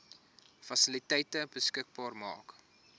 fasiliteite beskikbaar maak